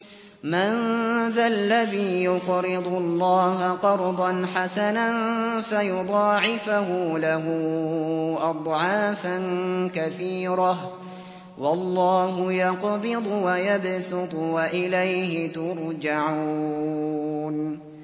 مَّن ذَا الَّذِي يُقْرِضُ اللَّهَ قَرْضًا حَسَنًا فَيُضَاعِفَهُ لَهُ أَضْعَافًا كَثِيرَةً ۚ وَاللَّهُ يَقْبِضُ وَيَبْسُطُ وَإِلَيْهِ تُرْجَعُونَ